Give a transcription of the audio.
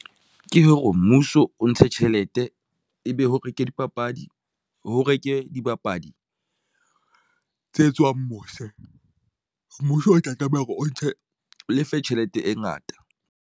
Ke hore mmuso o ntshe tjhelete ebe ho reke dipapadi, ho reke dibapadi tse tswang mose. Mmuso o tla tlameha hore o ntshe lefe tjhelete e ngata.